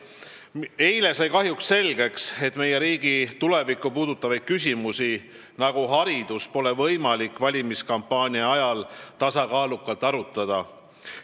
Eile sai kahjuks selgeks, et meie riigi tulevikku puudutavaid küsimusi, sh haridus, pole võimalik valimiskampaania ajal tasakaalukalt arutada.